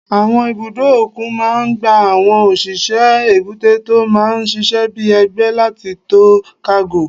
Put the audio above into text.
Àwọn ibùdó òkun máa n gba àwọn òṣìṣẹ́ èbúté tó máa n ṣiṣẹ́ bíi ẹgbẹ́ láti to kágò